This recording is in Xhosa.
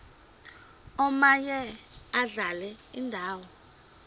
omaye adlale indawo